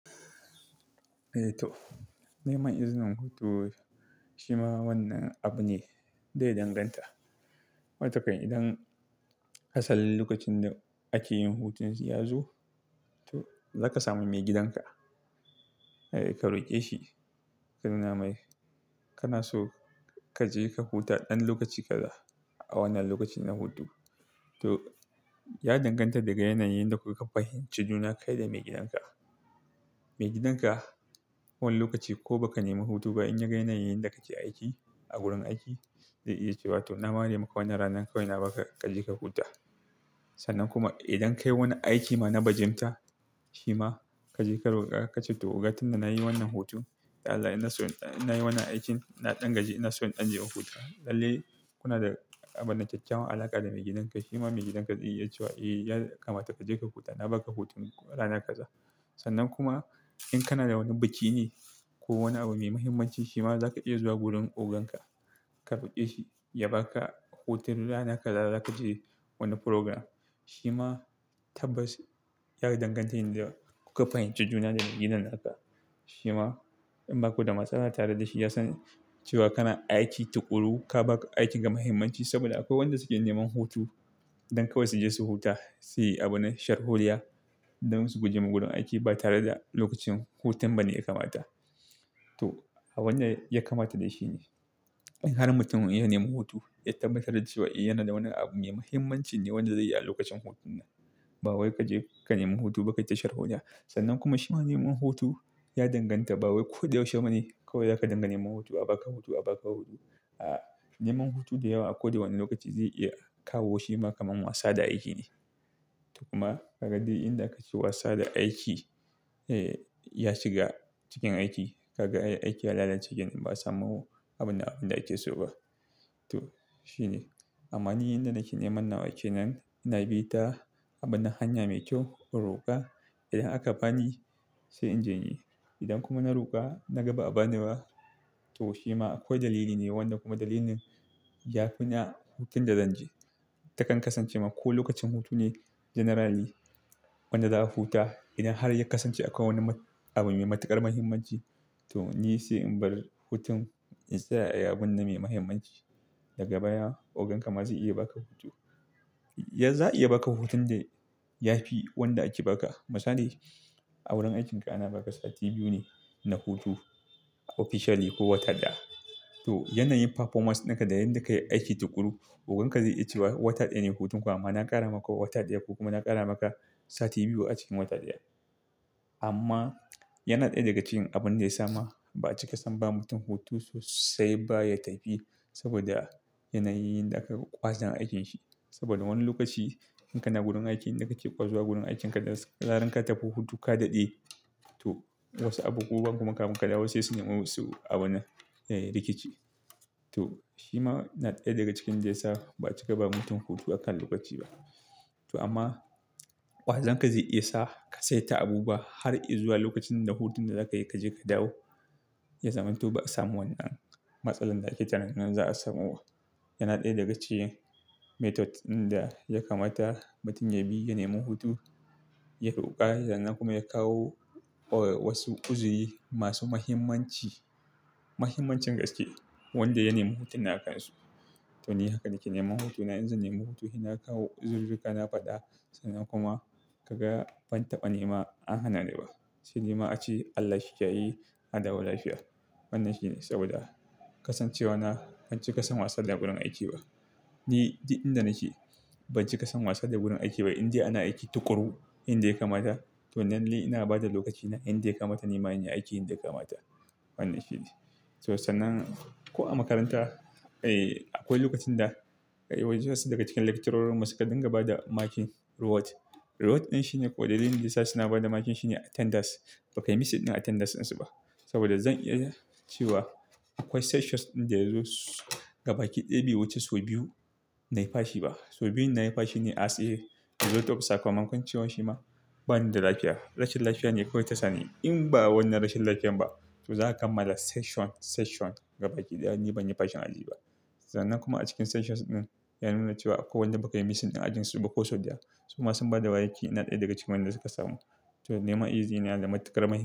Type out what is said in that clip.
Eh to, neman izinin hutu shi ma wannan abu ne da ya danganta. Watakan idan asalin lokacin da ake yin hutun ya zo, to za ka sami maigidanka. Eh, ka roƙe shi ka nuna mai kana so ka je ka huta ɗan lokaci kaza a wannan lokacin na hutu. To, ya danganta daga yanayin da kuka fahimci juna kai da maigidanka. Maigidanka wani lokaci ko baka nemi hutu ba in yaga yanayin yadda kake aiki a gurin aiki, zai iya cewa "to na ware maka wannan ranan kawai na baka, ka je ka huta". Sannan kuma idan kayi wani aiki ma na bajimta, shima kaje ka roka, kace "Toh oga tunda nayi wannan hutu, dan Allah ina so in dan-- nayi wannan aikin, na dan gaji ina so in dan je in huta". Lallai in kuna da kyakkyawan alaka da maigidan ka shima maigidanka zaice iya cewa "eh to yakamata kaje ka huta, na baka hutun rana kaza". Sannan kuma in kana da wani abu da kakeyi ko wani abu mai muhimmanci shi ma zaka iya zuwa wurin ogan ka, ka roƙe shi ya baka hutun rana kaza za ka je wani program. Shi ma tabbas ya danganta yanda kuka fahimci juna da maigidan ka. Shima in baku da matsala tare da shi yasan cewa kana aiki tukuru, ka ba aikin ka muhimmanci. Saboda akwai wanda suke neman hutu don kawai su je su huta, su yi abunnan sharholiya don su guje ma gurin aiki ba tare da lokacin hutun ba ne ya kamata. To, wannan ya kamata dai shine. In har mutum ya neman hutu ya tabbatar da cewa yana da wani abu mai muhimmanci ne wanda zai yi a lokacin hutun nan. Bawai kaje ka nemi hutu ba kayita sharholiya. Sannan kuma shi ma neman hutu ya danganta. Ba wai ko da yaushe ba ne kawai zaka dinga neman hutu. A baka hutu, a baka hutu. A'a, neman hutu da yawa a ko da wane lokaci zai iya kawo shi ma kamar wasa da aiki ne. To kuma kaga duk inda akace wasa da aiki ya shiga cikin aiki. Ka ga aiki ya lalace kenan, ba a samu abunda-- abunda ake so ba. To shine. Amma ni yanda nake neman nawa kenan, ina bi ta abunnan, hanya mai kyau, in roƙa. Idan aka bani sai in je ni. Idan kuma na roƙa na ga ba a bani ba, to shi ma akwai dalili ne wanda kuma dalilin ya fi na hutun da zan je. Ta kan kasance ma ko lokacin hutu ne generally wanda za a huta. Idan har ya kasance akwai wani abu mai matuƙar muhimmanci, to ni sai in bar hutun in tsaya abun na me muhimmanci. Daga baya ogan ka ma zai iya baka hutu. Yanzu za'a iya baka hutun da ya fi wanda ake baka. Misali a wurin aikin ka ana baka sati biyu ne na hutu officially ko wata ɗaya. To yanayin performance dinka da yadda kayi aiki tukuru, ogan ka zai iya cewa wata ɗaya ne hutun ka amma na ƙara maka wata ɗaya ko kuma na ƙara maka sati biyu a cikin wata ɗaya. Amma yana ɗaya daga cikin abin da ya sa ma ba a cika san ba mutum hutu sosai ba ya tafi saboda yanayin yanda aka ga ƙwazon aikin shi. Saboda wani lokaci in kana gurin aiki inda kace ƙwazo gurin aikin ka da zarar ka tafi hutu ka daɗe, to wasu abubuwan kuma kamuka da wasu suna ma su abuna eh rikici. To shi ma yana ɗaya daga cikin da yasa ba a cika ba mutum hutu akan lokaci ba. To amma ƙwazon ka zai iya sa ka saita abu ba har izuwa lokacin da hutun da zaka yi kaje ka dawo, ya zaman to ba a samu wannan matsalar da ake tunanin za a samu ba. Yana ɗaya daga cikin method ɗin da ya kamata mutum ya bi ya nemi hutu, ya roƙa sannan kuma ya kawo or wasu ƙuzuri masu muhimmanci, muhimmancin gaske wanda ya nemi hutun na kansu. To ni haka nake neman hutuna. In zanemi hutu sai na kawo uzururruka na faɗa sannan kuma ka ga ban taɓa nema an hana ni ba. Saidai ma ace "Allah shi kiyaye, a dawo lafiya". Wannan shine saboda kasancewa na ban cika son wasa da gurin aiki ba. Ni, duk inda nake ban cika son wasa da gurin aiki ba. Inde ana aiki tukuru, inda ya kamata to lalle ina bada lokacina inda ya kamata nima yin aikin da ya kamata. Wannan shine. To sannan ko a makaranta, akwai lokacin da kawai just daga cikin lecturorin mu suka dinga bada makin reward. Reward ɗin shine ko dalilin da ya sa suna bada makin shine attendance. Bakai missing a attendance ɗin su ba. Saboda zan iya cewa akwai sessions ɗin da ya zo gaba ki ɗaya biyu wuce sau biyu nai fashi ba. Sau biyun nayi fashi ne as a result of sakamakon cewa shi ma bani da lafiya. Rashin lafiya ne kawai ta sani. In ba wannan rashin lafiyan ba to za a kammala session, session gaba ki ɗaya ni banyi fashin aji ba. Sannan kuma a cikin sessions ɗin ya nuna cewa akwai wanda bakai missing a ajin su ba ko sau da ya. Su ma sun bada maki, ina ɗaya daga cikin wanyanda suka samu. To neman izini yana da matuƙar mahimmanci.